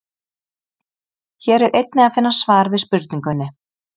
Hér er einnig að finna svar við spurningunni: